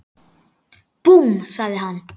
Búmm! sagði hann.